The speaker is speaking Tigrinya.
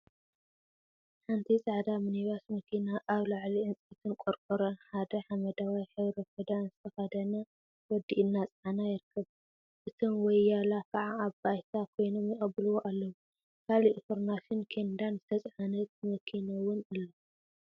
ሓንቲ ፃዕዳ ሚኒ ባስ መኪና አብ ላዕሊ ዕንፀይትን ቆርቆሮን ሓደ ሓመደዋይ ሕብሪ ክዳን ዝተከደነ ወዲ እናፀዓነ ይርከብ፡፡ እቶም ወያላ ከዓ አብ ባይታ ኮይኖም የቀብልዎ አለው፡፡ ካሊእ ፍርናሽን ኬንዳን ዝተፀዓነት መኪና እውላ አላ፡፡